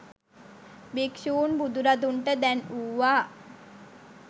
භික්‍ෂූන් බුදුරදුන්ට දැන්වූවා.